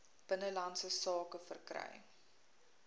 binnelandse sake verkry